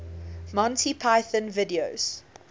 monty python videos